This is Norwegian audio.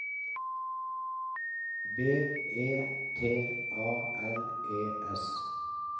B E T A L E S